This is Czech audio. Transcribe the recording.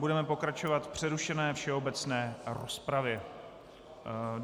Budeme pokračovat v přerušené všeobecné rozpravě.